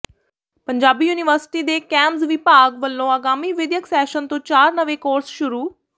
Punjabi university ਦੇ ਕੈਮਜ਼ ਵਿਭਾਗ ਵਲੋਂ ਆਗਾਮੀ ਵਿੱਦਿਅਕ ਸੈਸ਼ਨ ਤੋਂ ਚਾਰ ਨਵੇਂ ਕੋਰਸ ਸ਼ੁਰੂ